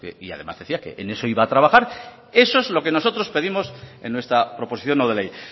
y además decía que en eso iba a trabajar eso es lo que nosotros pedimos en nuestra proposición no de ley